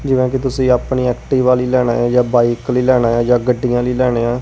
ਜਿਵੇਂ ਕਿ ਤੁਸੀਂ ਆਪਣੀ ਐਕਟੀਵਾ ਲਈ ਲੈਣਾ ਜਾਂ ਬਾਈਕ ਲਈ ਲੈਣਾ ਆ ਜਾਂ ਗੱਡੀਆਂ ਲਈ ਲੈਣੇ ਆ।